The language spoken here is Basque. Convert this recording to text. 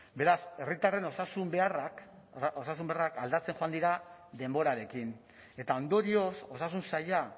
beraz herritarren osasun beharrak osasun beharrak aldatzen joan dira denborarekin eta ondorioz osasun saila